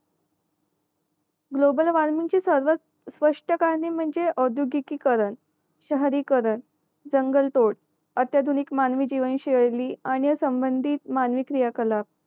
global वॉर्मिंगची सर्व स्पष्ट कारणे म्हणजे अं आद्योगिकी की करण शहरीकरण जंगल तोड अत्याधुनिक मानवी जीवन शैली आणि संबंधीत मानवी क्रिया कला